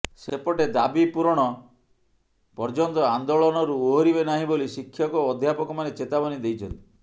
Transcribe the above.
ସେପଟେ ଦାବି ପୂରଣ ନହେବ ପର୍ଯ୍ୟନ୍ତ ଆନ୍ଦୋଳନରୁ ଓହରିବେ ନାହିଁ ବୋଲି ଶିକ୍ଷକ ଓ ଅଧ୍ୟାପକମାନେ ଚେତାବନୀ ଦେଇଛନ୍ତି